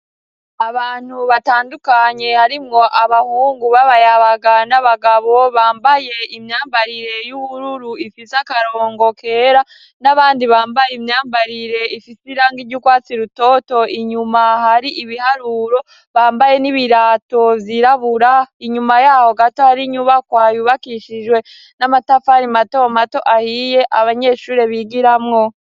Abantu batandukanye harimwo abahungu b'abayabaga n'abagabo, bambaye imyambarire y'ubururu ifise akarongo kera, n'abandi bambaye imyambarire ifise irangi ry'urwatsi rutoto, inyuma hari ibiharuro, bambaye n'ibirato vyirabura, inyuma yaho gato hari inyubakwa yubakishijwe n'amatafari mato mato ahiye abanyeshuri bigiramwo.